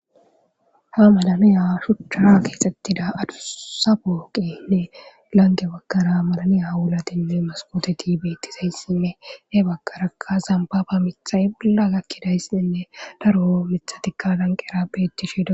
ha malanoya shuchcha keexettida adusa booqenne lange bakkara malanoya wulatinne maskoteti beettizayssinne he bakaraka zambaba mithay bolla gakkidayssinne daro mithatikka danqera bettishido